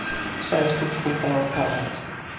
sagði stúlkan þá og táraðist.